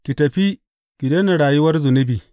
Ki tafi, ki daina rayuwar zunubi.